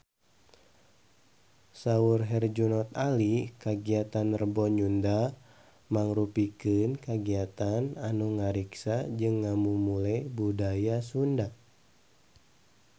Saur Herjunot Ali kagiatan Rebo Nyunda mangrupikeun kagiatan anu ngariksa jeung ngamumule budaya Sunda